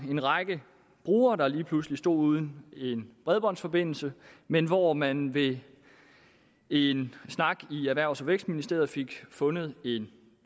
en række brugere der lige pludselig stod uden en bredbåndsforbindelse men hvor man ved en snak i erhvervs og vækstministeriet fik fundet en